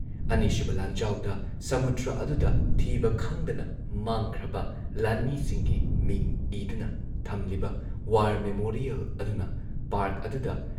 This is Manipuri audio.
ꯑꯅꯤꯁꯨꯕ ꯂꯥꯟꯖꯥꯎꯗ ꯁꯃꯨꯗ꯭ꯔ ꯑꯗꯨꯗ ꯊꯤꯕ ꯈꯪꯗꯅ ꯃꯥꯡꯈ꯭ꯔꯕ ꯂꯥꯟꯃꯤꯁꯤꯡꯒꯤ ꯃꯤꯡ ꯏꯗꯨꯅ ꯊꯝꯂꯤꯕ ꯋꯥꯔ ꯃꯦꯃꯣꯔꯤꯌꯦꯜ ꯑꯗꯨꯅ ꯄꯥꯔꯛ ꯑꯗꯨꯗ